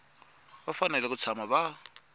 va fanele ku tshama va